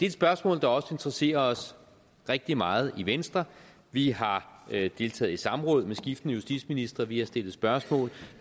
et spørgsmål der også interesserer os rigtig meget i venstre vi har deltaget i samråd med skiftende justitsministre vi har stillet spørgsmål